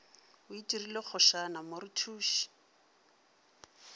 o itirile kgošana mo rethuše